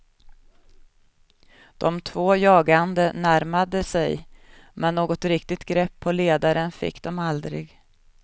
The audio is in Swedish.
De två jagande närmade sig, men något riktigt grepp på ledaren fick de aldrig.